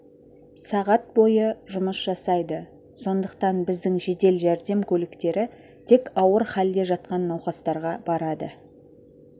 сағат бойы жұмыс жасайды сондықтан біздің жедел жәрдем көліктері тек ауыр халде жатқан науқастарға барады